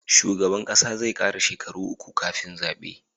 Shugaban ƙasa zai kara shekara uku kafin zabe